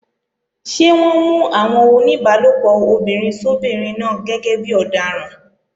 Ṣé wọ́n mú àwọn oníbálòpọ̀ obìnrin sóbinrin náà gẹ́gẹ́ bí ọ̀daràn?